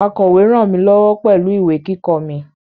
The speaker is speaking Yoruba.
Akọ̀we ràn mí lọ́wọ́ pẹ̀lú ìwé kíkọ mi